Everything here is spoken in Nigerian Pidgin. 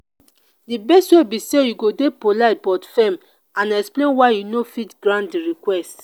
di best way be say you go dey polite but firm and explain why you no fit grant di request.